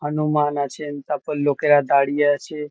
হানুমান আছেন। তারপর লোকেরা দাঁড়িয়ে আছে ।